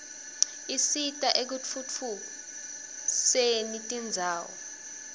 asita ekutfutfu usen indzawo